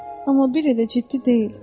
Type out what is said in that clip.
Amma bir elə ciddi deyil.